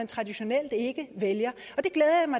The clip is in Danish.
traditionelt ikke vælger